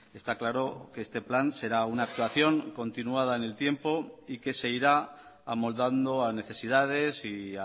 está claro que este plan será una actuación continuada en el tiempo y que se irá amoldando a necesidades y